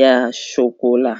ya shokola.